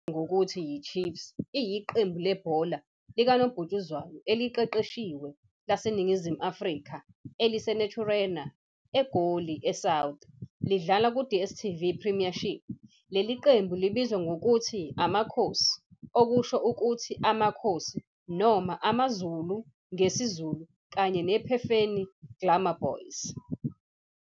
I-Kaizer Chiefs Football Club, ngokuvamile eyaziwa ngokuthi yi-Chiefs, iyiqembu lebhola likanobhutshuzwayo eliqeqeshiwe laseNingizimu Afrika eliseNaturena, eGoli South, lidlala ku-DSTV Premiership. Leli qembu libizwa ngokuthi "AmaKhosi", okusho ukuthi "Amakhosi" noma "AmaZulu" ngesiZulu, kanye ne-Phefeni Glamour Boys.